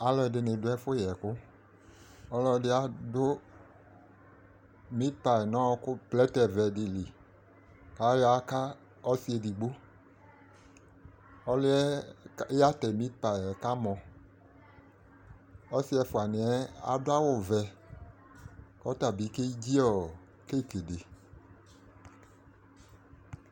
Alʋɛdɩnɩ dʋ ɛfʋ yɛkʋ Ɔlɔdɩ adʋ mipayɩ n'ɔɔkʋ plɛtɛvɛdɩ li k'ayɔ aka ɔsɩ edigbo ;ɔlʋɩɛ yatɛ mipayɩ yɛ kamɔ Ɔsɩ ɛfʋanɩɛ adʋ awʋvɛ , k'ɔta bɩ kedzi ɔ kekedɩ